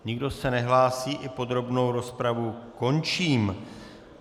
Nikdo se nehlásí, i podrobnou rozpravu končím.